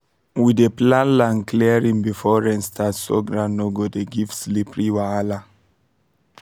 we dey plan land clearing before rain start so ground no dey give slippery wahala